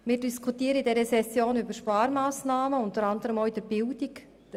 Wir diskutieren in dieser Session über Sparmassnahmen, unter anderem auch in der Bildung.